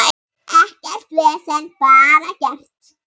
Og mamma hjálpar rosa mikið.